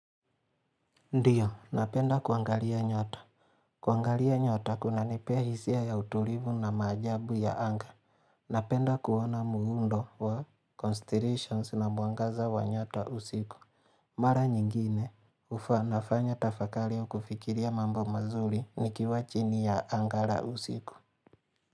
Ndio napenda kuangalia nyota kuangalia nyota kunanipea hisia ya utulivu na maajabu ya anga napenda kuona muundo wa constellations na mwangaza wa nyota usiku mara nyingine nafanya tafakari ya kufikiria mambo mazuri nikiwa chini ya anga la usiku.